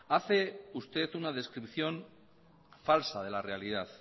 hace usted una descripción falsa de la realidad